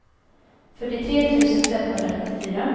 fyrtiotre tusen femhundranittiofyra